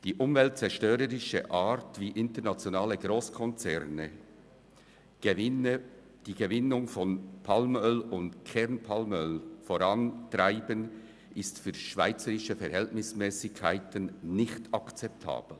Die umweltzerstörerische Art, wie internationale Grosskonzerne die Gewinnung von Palmöl und Kernpalmöl vorantreiben, ist für schweizerische Verhältnismässigkeiten nicht akzeptabel.